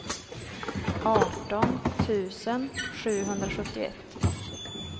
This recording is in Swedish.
arton tusen sjuhundrasjuttioett